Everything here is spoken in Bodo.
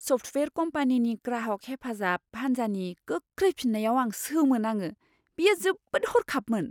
सफ्टवेयार कम्पानिनि ग्राहक हेफाजाब हान्जानि गोख्रै फिननायाव आं सोमोनाङो। बेयो जोबोद हरखाबमोन!